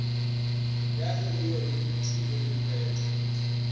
ya kgegeo le dithumo diphetho